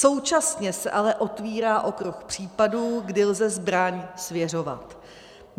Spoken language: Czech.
Současně se ale otevírá okruh případů, kdy lze zbraň svěřovat.